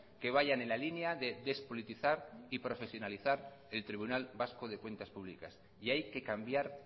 que vayan en la línea de despolitizar y profesionalizar el tribunal vasco de cuentas públicas y hay que cambiar